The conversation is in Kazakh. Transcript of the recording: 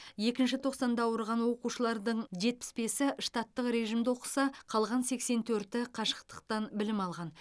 екінші тоқсанда ауырған оқушылардың жетпіс бесі штаттық режимде оқыса қалған сексен төрті қашықтықтан білім алған